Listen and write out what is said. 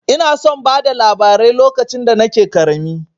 Ina son bada labarai lokacin da nake ƙarami.